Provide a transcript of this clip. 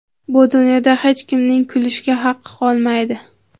bu dunyoda hech kimning kulishga haqqi qolmaydi.